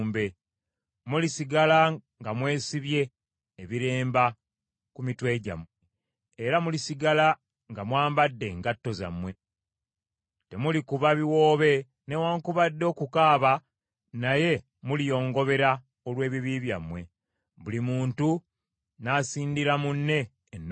Mulisigala nga mwesibye ebiremba ku mitwe gyammwe, era mulisigala nga mwambadde engatto zammwe. Temulikuba biwoobe newaakubadde okukaaba naye muliyongobera olw’ebibi byammwe, buli muntu n’asindira munne ennaku.